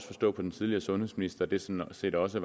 forstå på den tidligere sundhedsminister at det sådan set også